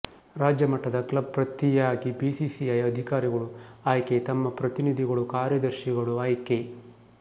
ರಾಜ್ಯ ಮಟ್ಟದ ಕ್ಲಬ್ ಪ್ರತಿಯಾಗಿ ಬಿಸಿಸಿಐ ಅಧಿಕಾರಿಗಳು ಆಯ್ಕೆ ತಮ್ಮ ಪ್ರತಿನಿಧಿಗಳು ಕಾರ್ಯದರ್ಶಿಗಳು ಆಯ್ಕೆ